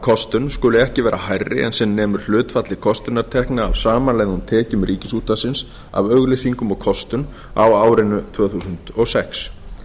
kostun skuli ekki vera hærri en sem nemur hlutfalli kostunartekna af samanlögðum tekjum ríkisútvarpsins af auglýsingum og kostun á árinu tvö þúsund og sex